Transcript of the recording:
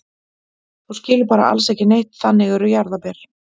Þú skilur bara alls ekki neitt, þannig eru jarðarber.